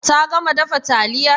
Ta gama dafa taliyar?